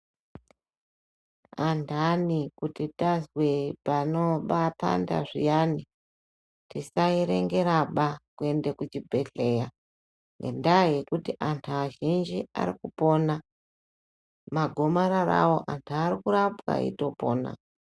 Anhani kuti tazwe panopanda zviyani tisaerengeraba kuende kuchibhehleya endai ngekuti anhu azhinji arikupona magomararawo anhu arikurapwa eitopona.